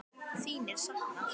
Þín er saknað.